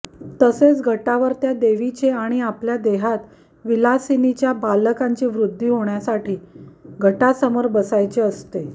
तसेच घटावर त्या देवीचे आणि आपल्या देहात विलासिनीच्या बालकांची वृद्धी होण्यासाठी घटासमोर बसायचे असते